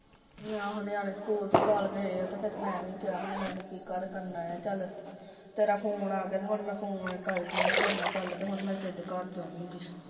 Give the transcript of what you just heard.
ਆਹੋ ਨਿਆਣੇ ਸਕੂਲ ਸਕਲ ਗਏ ਆ ਤੇ ਮੈਂ ਵੀ ਕਿਹਾ ਵੀ ਮੈਂ ਵੀ ਕੀ ਘਰ ਕਰਨਾ ਆ ਚੱਲ, ਤੇਰਾ phone ਆ ਗਿਆ ਤੇ ਹੁਣ ਮੈਂ phone ਕਰਕੇ ਨਾ ਤੇਰੇ ਗੱਲ, ਤੇ ਹੁਣ ਮੈਂ ਕਿਸੇ ਦੇ ਘਰ ਜਾਊਗੀ